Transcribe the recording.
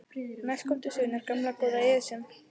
Næst kom til sögunnar gamla, góða Esjan.